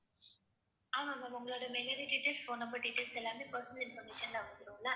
ஆமா ma'am உங்களோட mailIDdetails phone number details எல்லாமே personal information ல வந்துரும்ல